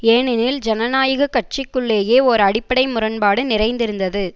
ஏனெனில் ஜனநாயக கட்சிக்குள்ளேயே ஓர் அடிப்படை முரண்பாடு நிறைந்திருந்தது